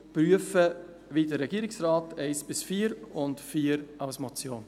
Prüfen von 1–3 wie der Regierungsrat, und 4 als Motion.